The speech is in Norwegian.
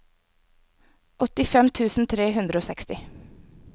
åttifem tusen tre hundre og seksti